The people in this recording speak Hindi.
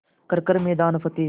कर हर मैदान फ़तेह